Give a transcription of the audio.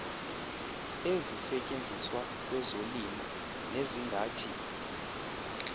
ezisetyenziswa kwezolimo nezingathi